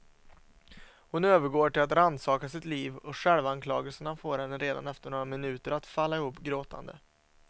Hon övergår till att rannsaka sitt liv och självanklagelserna får henne redan efter några minuter att falla ihop gråtande.